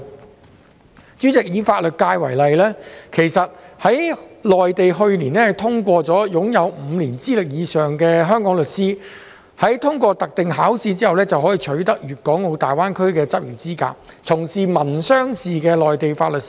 代理主席，以法律界為例，內地於去年通過了一項決定，容許擁有5年以上資歷的香港律師在通過特定考試之後，取得大灣區的執業資格，從事民商事的內地法律事務。